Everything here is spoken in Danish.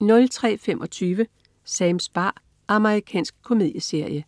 03.25 Sams bar. Amerikansk komedieserie